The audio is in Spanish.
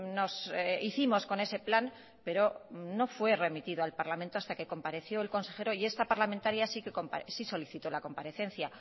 nos hicimos con ese plan pero no fue remitido al parlamento hasta que compareció el consejero y esta parlamentaria sí solicitó la comparecencia